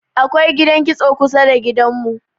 akwai gidan kitso kusada da gidan mu